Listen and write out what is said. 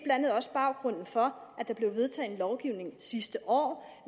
andet også baggrunden for at der blev vedtaget en lovgivning sidste år